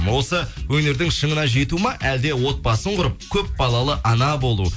осы өнердің шыңына жету ма әлде отбасын құрып көп балалы ана болу